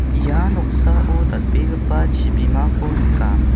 ia noksao dal·begipa chibimako nikam .